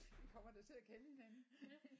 Vi kommer da til at kende hinanden